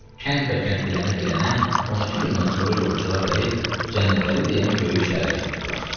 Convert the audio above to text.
Kəndbəkənd dilənə-dilənə 12 gündən sonra yolçular gəlib Cənnətəli deyən böyük şəhərə çatdılar.